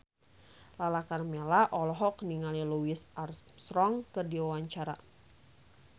Lala Karmela olohok ningali Louis Armstrong keur diwawancara